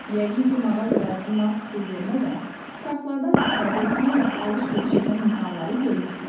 Yəqin ki, mağazalardan nağd pul vermədən kartlardan istifadə etməklə alış-veriş edən insanları görmüsünüz.